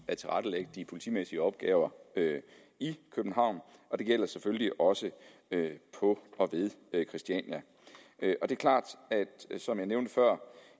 at tilrettelægge de politimæssige opgaver i københavn og det gælder selvfølgelig også på og ved christiania som jeg nævnte før